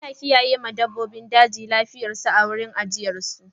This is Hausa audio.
Ana kiyaye ma dabbobin daji lafiyar su a wurin ajiyar su.